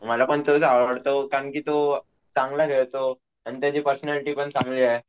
मला पण तोच आवडतो कारण तो चांगला खेळतो आणि त्याची पर्सनॅलिटी पण चांगली आहे.